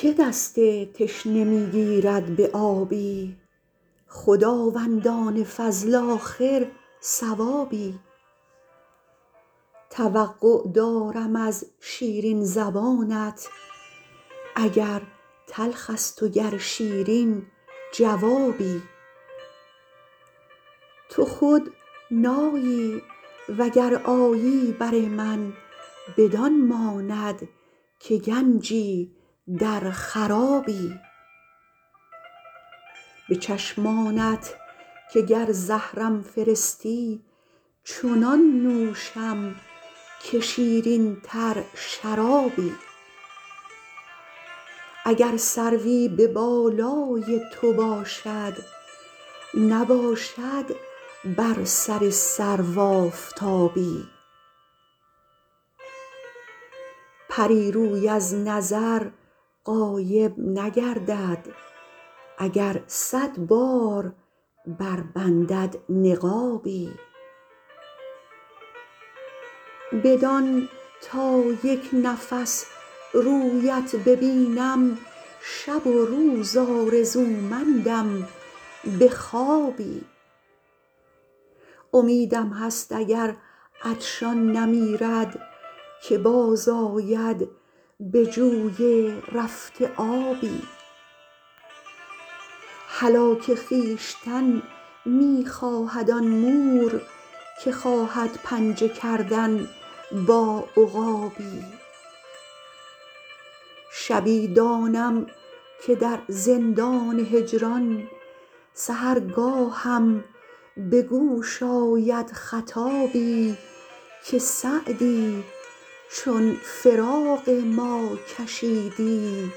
که دست تشنه می گیرد به آبی خداوندان فضل آخر ثوابی توقع دارم از شیرین زبانت اگر تلخ است و گر شیرین جوابی تو خود نایی و گر آیی بر من بدان ماند که گنجی در خرابی به چشمانت که گر زهرم فرستی چنان نوشم که شیرین تر شرابی اگر سروی به بالای تو باشد نباشد بر سر سرو آفتابی پری روی از نظر غایب نگردد اگر صد بار بربندد نقابی بدان تا یک نفس رویت ببینم شب و روز آرزومندم به خوابی امیدم هست اگر عطشان نمیرد که باز آید به جوی رفته آبی هلاک خویشتن می خواهد آن مور که خواهد پنجه کردن با عقابی شبی دانم که در زندان هجران سحرگاهم به گوش آید خطابی که سعدی چون فراق ما کشیدی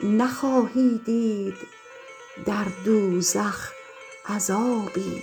نخواهی دید در دوزخ عذابی